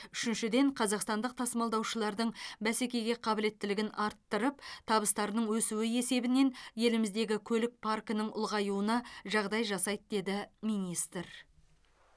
үшіншіден қазақстандық тасымалдаушылардың бәсекеге қабілеттілігін арттырып табыстарының өсуі есебінен еліміздегі көлік паркінің ұлғаюына жағдай жасайды деді министр